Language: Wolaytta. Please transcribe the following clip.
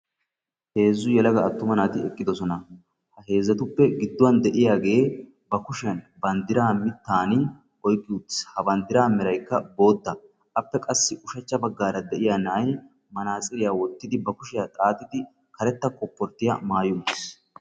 Heezzu yelaga attuma naati eqqidosona. Ha heezzatuppe gidduwan de'iyagee banddiraa miittaani oyqqi uttiis. Ha banddiraa meraykka bootta. Appe qassi ushachcha baggaara de'iya na'ay manaatsiriya wottidi bari kushiya xaaxidi karetta kopporttiya maayi uttiis.